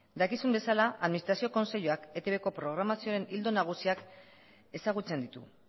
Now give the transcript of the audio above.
dakizuen bezala administrazio kontseiluak etbko programazioaren ildo nagusiak ezagutzen ditu